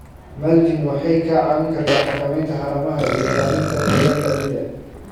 Mulching waxay kaa caawin kartaa xakamaynta haramaha iyo ilaalinta qoyaanka ciidda.